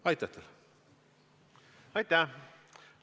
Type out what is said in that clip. Aitäh!